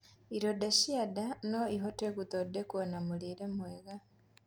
Ironda cia ndaa noĩhote guthondekwo na mũrĩre mwega